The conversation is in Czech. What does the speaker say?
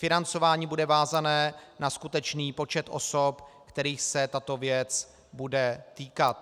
Financování bude vázané na skutečný počet osob, kterých se tato věc bude týkat.